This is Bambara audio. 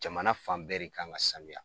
Jamana fan bɛɛ re ka kan ka sanuya.